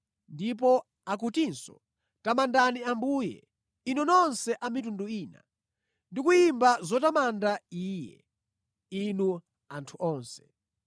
Ndipo akutinso, “Tamandani Ambuye, inu nonse a mitundu ina, ndi kuyimba zotamanda Iye, inu anthu onse.”